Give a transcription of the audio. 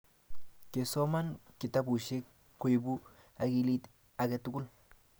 kesoman kitabushe koibu akilit age tugul